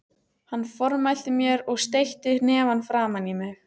Hann formælti mér og steytti hnefann framan í mig.